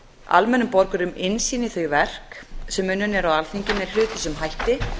almennum borgurum innsýn í þau verk sem unnin eru á alþingi með hlutlausum hætti